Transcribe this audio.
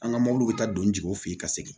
An ka mɔbiliw bɛ taa don jigiw fɛ yen ka segin